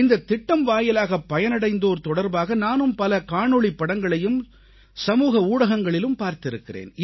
இந்தத் திட்டம் வாயிலாகப் பயனடைந்தோர் தொடர்பாக நானும் பல காணொளிப்படங்களையும் சமூக ஊடகங்களிலும் பார்த்திருக்கிறேன்